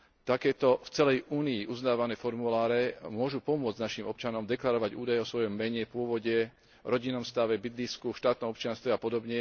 Takéto v celej Únii uznávané formuláre môžu pomôcť našim občanom deklarovať údaje o svojom mene, pôvode, rodinnom stave, bydlisku, štátnom občianstve a pod.